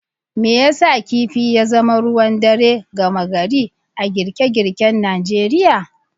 Me yasa kifi ya zama ruwan dare gama gari a girke girken Najeriya?.